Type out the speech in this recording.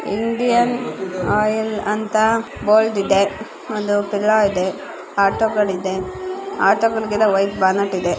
Indian Oil ಅಂತ board ಇದೆ ಒಂದು ಪದ ಇದೆ ಆಟೋಗಳಿದೆ ಆಟಗಳಿಗೆಲ್ಲ ವೈಟ್ ಬ್ಯಾಲೆಟ್ .